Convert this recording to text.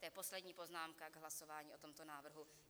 To je poslední poznámka k hlasování o tomto návrhu.